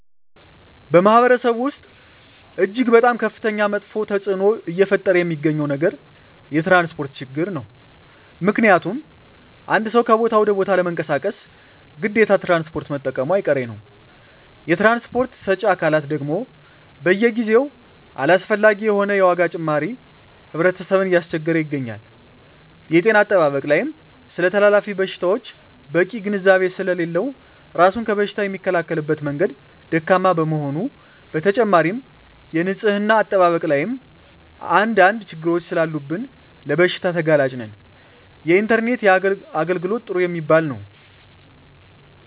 በማህበረሰቡ ወስጥ እጅግ በጣም ከፍተኛ መጥፌ ተፅዕኖ እየፈጠረ የሚገኘው ነገር የትራንስፖርት ችግር ነው ምክንያቱም አንድ ሰው ከቦታ ወደ ቦታ ለመንቀሳቀስ ግዴታ ትራንስፖርት መጠቀሙጨ አይቀሬ ነው የትራንስፖርት ሰጪ አካላት ደግም በየጊዜው አላስፈላጊ የሆነ የዋጋ ጭማሪ ህብረተሰብን እያስቸገረ ይገኛል። የጤና አጠባበቅ ላይም ስለተላላፊ በሽታወች በቂ ግንዛቤ ስሌለለው እራሱን ከበሽታ የሚከላከልበት መንገድ ደካማ በመሆኑ በተጨማሪም የንፅህና አጠባበቅ ላይም አንድ አንድ ችግሮች ሰላሉብን ለበሽታ ተጋላጭ ነን። የኢንተርኔት የአገልግሎት ጥሩ የሚባል የው።